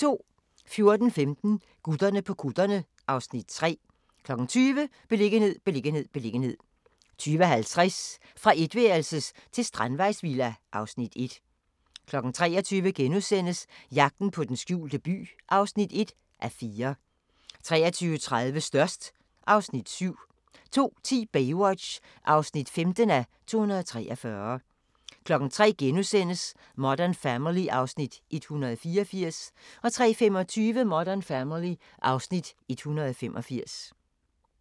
14:15: Gutterne på kutterne (Afs. 3) 20:00: Beliggenhed, beliggenhed, beliggenhed 20:50: Fra etværelses til strandvejsvilla (Afs. 1) 23:00: Jagten på den skjulte by (1:4)* 23:30: Størst (Afs. 7) 02:10: Baywatch (15:243) 03:00: Modern Family (Afs. 184)* 03:25: Modern Family (Afs. 185)